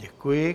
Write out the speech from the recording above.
Děkuji.